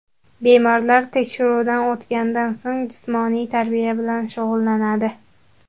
Bemorlar tekshiruvdan o‘tganidan so‘ng, jismoniy tarbiya bilan shug‘ullanadi.